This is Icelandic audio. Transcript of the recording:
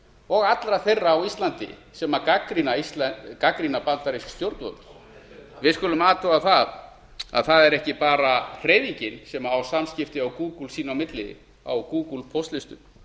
og allra þeirra á íslandi sem gagnrýna bandarísk stjórnvöld við skulum athuga að það er ekki bara hreyfingin sem á samskipti á gúgúl sín á milli á gúgúl póstlistum